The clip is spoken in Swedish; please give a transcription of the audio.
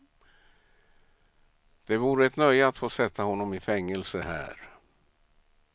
Det vore ett nöje att få sätta honom i fängelse här.